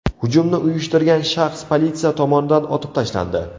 Hujumni uyushtirgan shaxs politsiya tomonidan otib tashlandi.